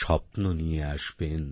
স্বপ্ন নিয়ে আসবেন